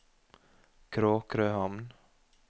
Kråkrøhamn